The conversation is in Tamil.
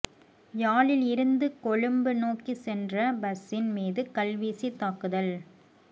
யாழில் இருந்து கொழும்பு நோக்கிச் சென்ற பஸ்ஸின் மீது கல்வீசித் தாக்குதல்